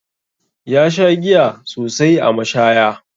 Ya sha giya sosai a mashaya.